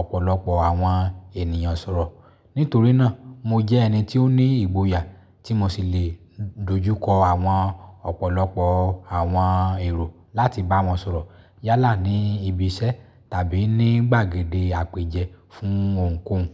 ọ̀pọ̀lọpọ̀ àwọn ènìyàn sọ̀rọ̀. Nítorí náà, mo jẹ́ ẹni tí ó ní ìgboyà tí mo sì lè dojú kọ àwọn ọ̀pọ̀lọpọ̀ àwọn èrò láti bá wọn sọ̀rọ̀ yálà ní ibi iṣẹ́ tàbí ní gbàgede àpèjẹ fún ohunkóhun.